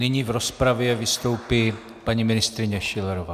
Nyní v rozpravě vystoupí paní ministryně Schillerová.